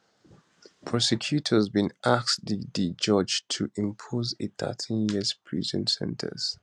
prosecutors bin ask di di judge to impose a 13year prison sen ten ce